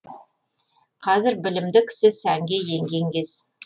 қазір білімді кісі сәнге енген кез